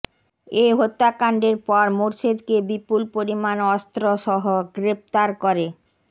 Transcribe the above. এ হত্যাকাণ্ডের পর মোরশেদকে বিপুল পরিমাণ অস্ত্রসহ গ্রেফতার করে